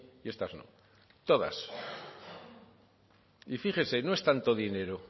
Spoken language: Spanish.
y estas no todas y fíjese no es tanto dinero